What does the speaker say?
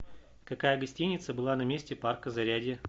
какая гостиница была на месте парка зарядье